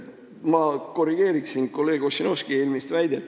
Ma korrigeerin kolleeg Ossinovski eelmist väidet.